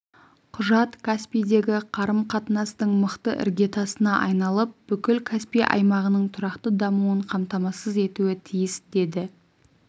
құжат каспийдегі қарым-қатынастың мықты іргетасына айналып бүкіл каспий аймағының тұрақты дамуын қамтамасыз етуі тиіс деді